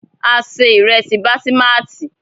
A se ìrẹ́sí basimati.